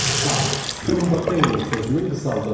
SA, Strumbateilung sözünün qısaldılmışı.